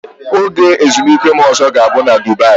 Oge ezumike m ọzọ ga-abụ na Dubaị.